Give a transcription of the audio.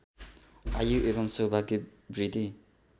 आयु एवम् सौभाग्य वृद्धि